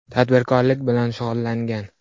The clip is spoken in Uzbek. Tadbirkorlik bilan shug‘ullangan.